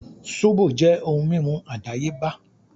Sóbò jẹ́ ohun mímu àdáyébá